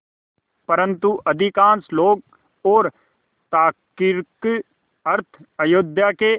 परन्तु अधिकांश लोग और तार्किक अर्थ अयोध्या के